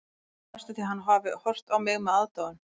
Ég held næstum því að hann hafi horft á mig með aðdáun.